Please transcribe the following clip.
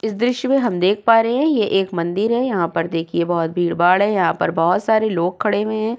इस दृश्य में हम देख पा रहे है। ये एक मंदिर है। यहाँ पर देखिए बहोत भीड़-भाड़ है। यहाँ पर बहोत सारे लोग खड़े हुए है।